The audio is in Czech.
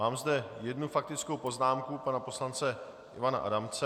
Mám zde jednu faktickou poznámku pana poslance Ivana Adamce.